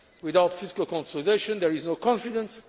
Without fiscal consolidation there is no confidence.